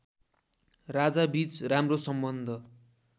राजाबीच राम्रो सम्बन्ध